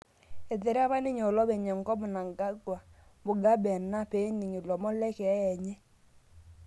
Eterepa ninye olopeny enkop Mnangangwa Mugabe enaa pening ilomon lekeeya enye